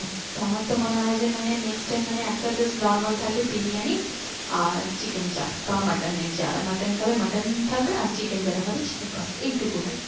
তো আমার তো মনে হয় যে মানে next time মানে একটা just normal থাকবে বিরিয়ানি আর chicken চাপ বা mutton র যারা mutton খাবে mutton থাকবে আর chicken যারা খাবে chicken বাস এইটুকু টাই